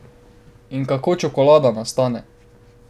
In kako čokolada nastane?